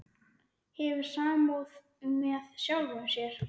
Hefur samúð með sjálfum sér.